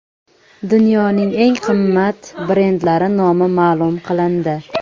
Dunyoning eng qimmat brendlari nomi ma’lum qilindi.